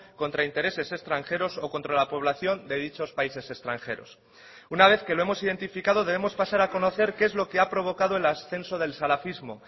contra intereses extranjeros o contra la población de dichos países extranjeros una vez que lo hemos identificado debemos pasar a conocer qué es lo que ha provocado el ascenso del salafismo